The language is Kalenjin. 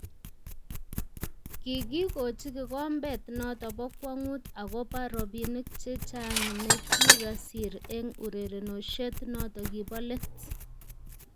Kigigochi kikombet noto bo kwangut agoba robinik chechang negikasir eng urerenoshiet noto kibo let